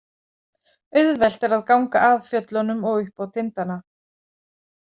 Auðvelt er að ganga að fjöllunum og upp á tindana.